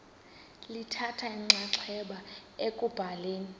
lithatha inxaxheba ekubhaleni